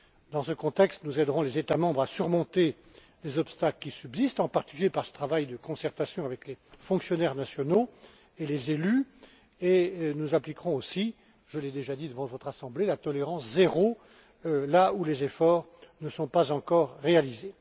Dans ce contexte, nous aiderons les États membres à surmonter les obstacles qui subsistent, en particulier par ce travail de concertation avec les fonctionnaires nationaux et les élus, et nous appliquerons aussi, je l'ai déjà dit devant votre Assemblée, la tolérance zéro, là où les efforts ne sont pas encore réalisés.